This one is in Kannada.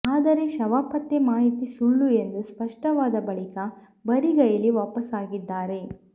ಆದರೆ ಶವಪತ್ತೆ ಮಾಹಿತಿ ಸುಳ್ಳು ಎಂದು ಸ್ಪಷ್ಟವಾದ ಬಳಿಕ ಬರಿಗೈಲಿ ವಾಪಾಸ್ಸಾಗಿದ್ದಾರೆ